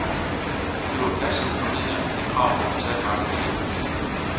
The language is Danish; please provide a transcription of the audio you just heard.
Hun bliver passiv formidler af de krav, kapitalmarkedet stiller.